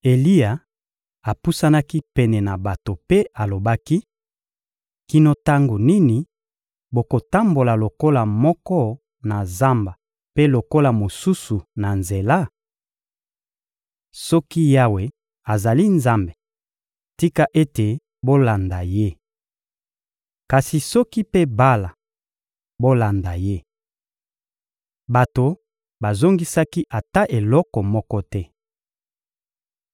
Eliya apusanaki pene na bato mpe alobaki: — Kino tango nini bokotambola lokolo moko na zamba mpe lokolo mosusu na nzela? Soki Yawe azali Nzambe, tika ete bolanda Ye! Kasi soki mpe Bala, bolanda ye. Bato bazongisaki ata eloko moko te.